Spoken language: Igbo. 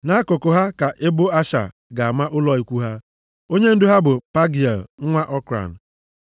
Nʼakụkụ ha ka ebo Asha ga-ama ụlọ ikwu ha. Onyendu ha bụ Pagịel nwa Okran.